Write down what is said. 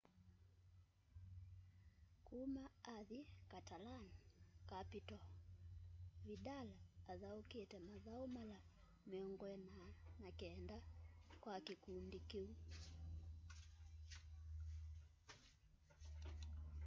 kũma athĩ catalan-capital vidal athaũkĩte mathaũ mala 49 kwa kĩkũndĩ kĩũ